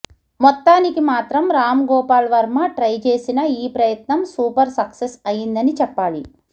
మొత్తానికి మాత్రం రామ్ గోపాల్ వర్మ ట్రై చేసిన ఈ ప్రయత్నం సూపర్ సక్సెస్ అయ్యిందని చెప్పాలి